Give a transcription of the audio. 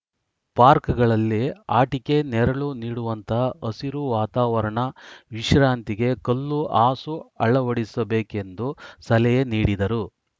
ಪಾರ್ಕ್ಗಳಲ್ಲಿ ಆಟಿಕೆ ನೆರಳು ನೀಡುವಂತಹ ಹಸಿರು ವಾತಾವರಣ ವಿಶ್ರಾಂತಿಗೆ ಕಲ್ಲು ಹಾಸು ಅಳವಡಿಸಬೇಕೆಂದು ಸಲಹೆ ನೀಡಿದರು